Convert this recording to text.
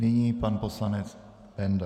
Nyní pan poslanec Benda.